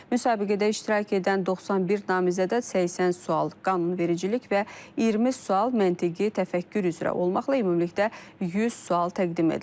Müsabiqədə iştirak edən 91 namizədə 80 sual qanunvericilik və 20 sual məntiqi təfəkkür üzrə olmaqla ümumilikdə 100 sual təqdim edilib.